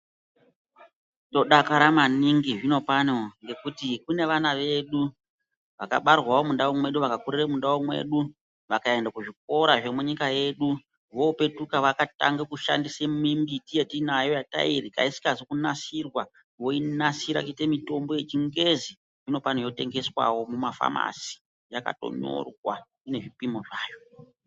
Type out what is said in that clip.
Tinodakara maningi zvinopano kuti kune vana vedu vakabarirwa mundau mwedu vakakurira mundau mwedu, vakaenda kuzvikora zvemunyia yedu. Vopetuka vakatanga kushandisa mimbiti yatinago yatairya isina kunasirwa voinasira voiyita mutombo yechingezi zvinopano yotengeswawo mumafamasi yakatonyorwa ine zvipimo zvayo.